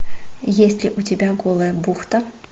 есть ли у тебя голая бухта